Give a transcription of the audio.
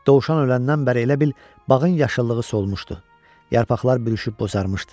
Dovşan öləndən bəri elə bil bağın yaşıllığı solmuşdu, yarpaqlar bürüşüb bozarrmışdı.